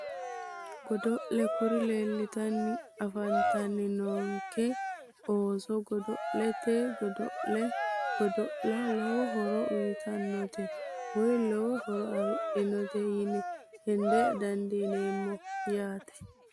Godo'le kuri leeltanni afantanni noonke ooso godo'laanote godo'le godo'la lowo horo uyitannote woyi lowo horo afidhinote yine heda dandiineemmo yaate